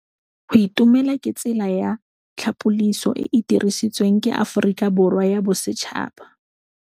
Go itumela ke tsela ya tlhapolisô e e dirisitsweng ke Aforika Borwa ya Bosetšhaba.